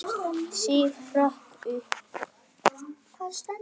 Sif hrökk upp.